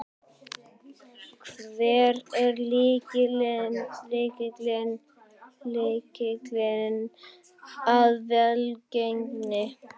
Hver er lykilinn að velgengninni?